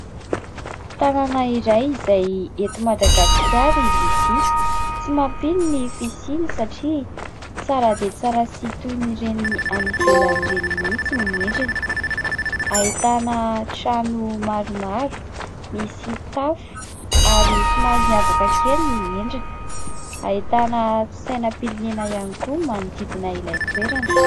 Tanàna iray izay eto Madagasikara izy ity ; tsy mampino ny fisiany satria tsara dia tsara sy toy ny ireny any ivelan'ireny mihitsy ny endriny, ahitana trano maromaro, misy tafo ary somary miavaka kely ny endriny, ahitana sainam-pirenena ihany koa manodidina ilay toerana.